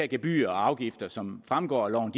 gebyrer og afgifter som fremgår af loven